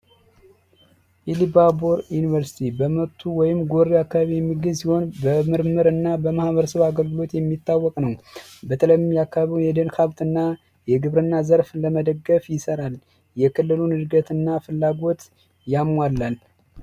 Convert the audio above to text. ኢሊባቦር ዩኒቨርስቲ በመቱ ወይም ጎሪ አካባቢ የሚገኝ ሲሆን በምርምርና በማህበረሰብ አገልግሎት የሚታወቅ ነው በተለይም ደግሞ የአካባቢውን የደን ሀብትና የግብርና ዘርፍ ለመደገፍ ይሰራል የክልሉ እድገትና ፍላጎት ያሟላል።